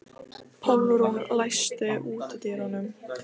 Pálrún, læstu útidyrunum.